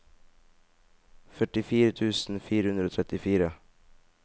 førtifire tusen fire hundre og trettitre